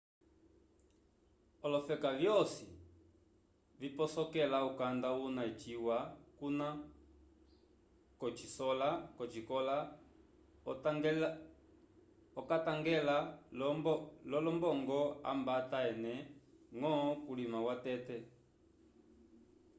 olofeka vyosi viposokela ukanda una eciwa kuna kosikola okatangela lo lombogo abanta ene ngo kulima watete